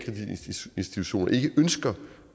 ønsker